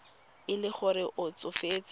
e le gore o tsofetse